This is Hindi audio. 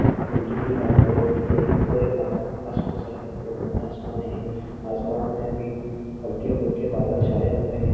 बिल्डिंग भी लाल कलर की है और है आसमान में भि हल्के फुल्के बादल छाए हुए है।